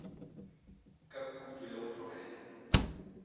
ka khutšo le go tlogela